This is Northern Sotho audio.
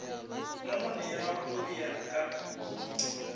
nonwane ya go ya ka